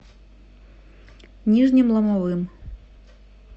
нижним ломовым